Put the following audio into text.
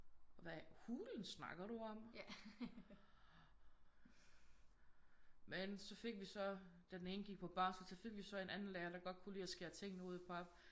Hvad hulen snakker du om? Men så fik vi så den ene gik på barsel så fik vi så en anden lærer der godt kunne lide at skære tingene ud i pap